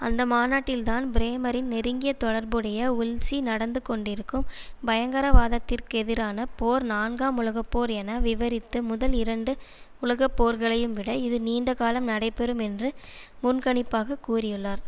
அந்த மாநாட்டில்தான் பிரேமரின் நெருங்கிய தொடர்புடைய வுல்ஸி நடந்துகொண்டிருக்கும் பயங்கரவாதத்திற்கெதிரான போர் நான்காம் உலக போர் என விவரித்து முதல் இரண்டு உலகப்போர்களையும்விட இது நீண்ட காலம் நடைபெறும் என்று முன்கணிப்பாகக் கூறியுள்ளார்